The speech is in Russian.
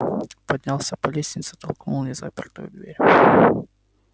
поднялся по лестнице толкнул незапертую дверь